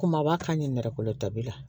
Kumaba ka ɲɛ nɛrɛ kolo ta bi la